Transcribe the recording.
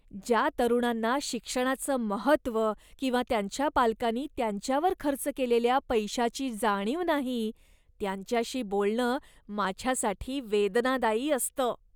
ज्या तरुणांना शिक्षणाचं महत्त्व किंवा त्यांच्या पालकांनी त्यांच्यावर खर्च केलेल्या पैशाची जाणीव नाही, त्यांच्याशी बोलणं माझ्यासाठी वेदनादायी असतं.